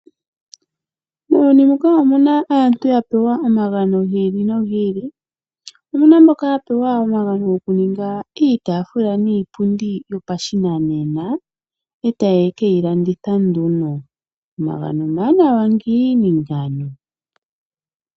Muuyuni muka omuna aantu ya pewa omagano gi ili nogi ili, omuna mboka ya pewa omagano goku ninga iitaafula niipundi yo pashinanena e taye keyi landitha nduno, omagano omawanawa ngiini ngano.